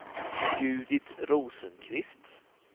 Judit Rosenqvist